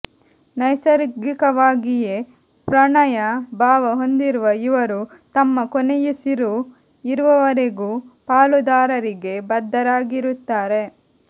ನೈಸರ್ಗಿಕವಾಗಿಯೇ ಪ್ರಣಯ ಭಾವ ಹೊಂದಿರುವ ಇವರು ತಮ್ಮ ಕೊನೆಯುಸಿರು ಇರುವವರೆಗೂ ಪಾಲುದಾರರಿಗೆ ಬದ್ಧರಾಗಿರುತ್ತಾರೆ